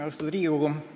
Austatud Riigikogu!